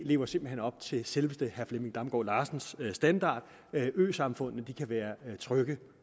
lever simpelt hen op til selveste herre flemming damgaard larsens standard øsamfundene kan være trygge